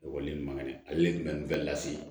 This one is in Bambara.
Ekɔliden ɲuman ye ale de tun bɛ nin bɛɛ lase